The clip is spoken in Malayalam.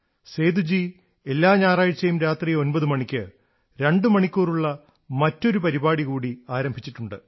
സേദുജീ എല്ലാ ഞായറാഴ്ചയും രാത്രി 9 മണിക്ക് രണ്ടുമണിക്കൂറുള്ള മറ്റൊരു പരിപാടി കൂടി ആരംഭിച്ചിട്ടുണ്ട്